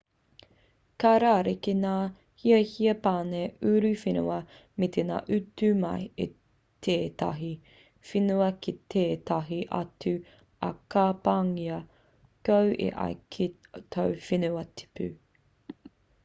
ka rerekē ngā hiahia pane uruwhenua me ngā utu mai i tētahi whenua ki tētahi atu ā ka pāngia koe e ai ki tō whenua tipu